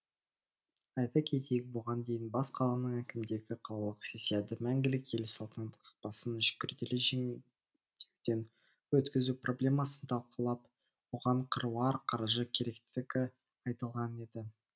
айта кетейік бұған дейін бас қаланың әкімдігі қалалық сессияда мәңгілік ел салтанат қақпасын күрделі жөндеуден өткізу проблемасын талқылап оған қыруар қаржы керектігі айтылған еді